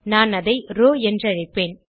நான் அதை ரோவ் என்றழைப்பேன்